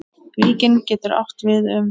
Víkin getur átt við um